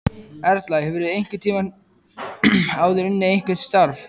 Erla: Hefurðu einhvern tímann áður unnið eitthvað starf?